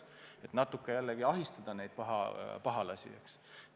Sooviti natukene ahistada neid pahalasi.